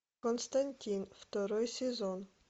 константин второй сезон